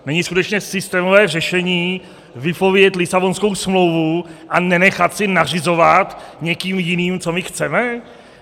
Není skutečně systémové řešení vypovědět Lisabonskou smlouvu a nenechat si nařizovat někým jiným, co my chceme?